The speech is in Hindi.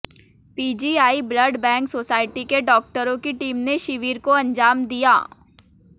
पीजीआई ब्लड बैंक सोसायटी के डाक्टरों की टीम ने शिविर को अंजाम दिया